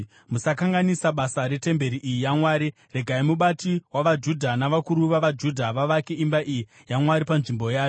Musakanganisa basa retemberi iyi yaMwari. Regai mubati wavaJudha navakuru vavaJudha vavake imba iyi yaMwari panzvimbo yayo.